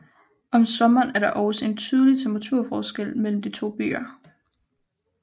Om sommeren er der også en betydlig temperaturforskel mellem de to byer